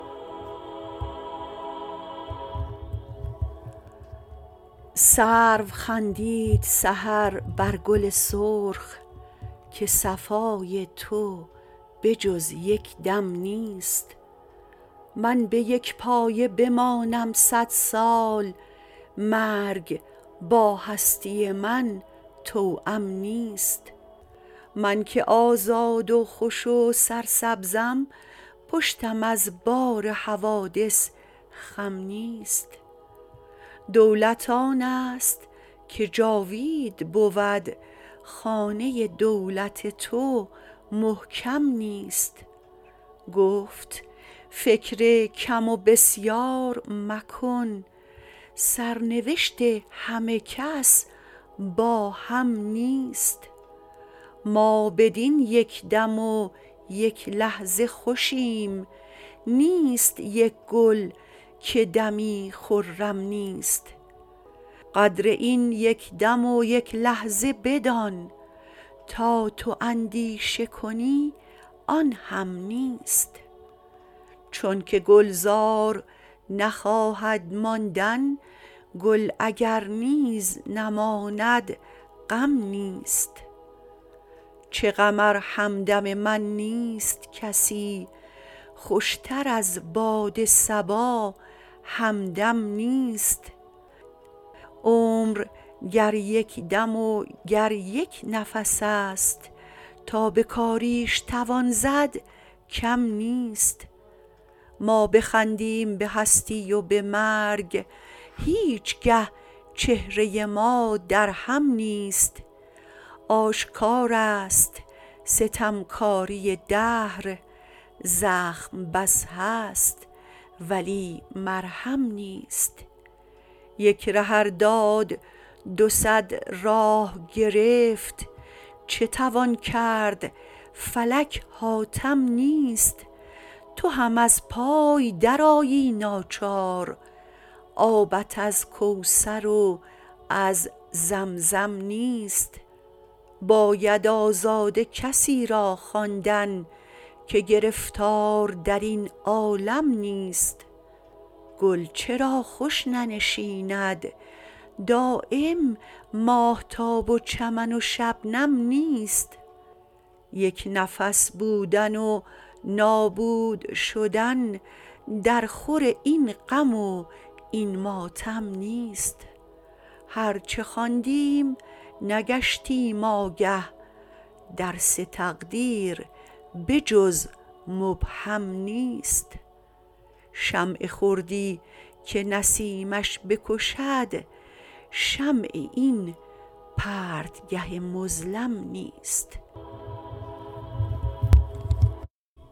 سرو خندید سحر بر گل سرخ که صفای تو به جز یکدم نیست من بیک پایه بمانم صد سال مرگ با هستی من توام نیست من که آزاد و خوش و سرسبزم پشتم از بار حوادث خم نیست دولت آنست که جاوید بود خانه دولت تو محکم نیست گفت فکر کم و بسیار مکن سرنوشت همه کس با هم نیست ما بدین یکدم و یک لحظه خوشیم نیست یک گل که دمی خرم نیست قدر این یکدم و یک لحظه بدان تا تو اندیشه کنی آنهم نیست چونکه گلزار نخواهد ماندن گل اگر نیز نماند غم نیست چه غم ار همدم من نیست کسی خوشتر از باد صبا همدم نیست عمر گر یک دم و گر یک نفس است تا بکاریش توان زد کم نیست ما بخندیم به هستی و به مرگ هیچگه چهره ما درهم نیست آشکار است ستمکاری دهر زخم بس هست ولی مرهم نیست یک ره ار داد دو صد راه گرفت چه توان کرد فلک حاتم نیست تو هم از پای در آیی ناچار آبت از کوثر و از زمزم نیست باید آزاده کسی را خواندن که گرفتار درین عالم نیست گل چرا خوش ننشیند دایم ماهتاب و چمن و شبنم نیست یک نفس بودن و نابود شدن در خور این غم و این ماتم نیست هر چه خواندیم نگشتیم آگه درس تقدیر به جز مبهم نیست شمع خردی که نسیمش بکشد شمع این پرتگه مظلم نیست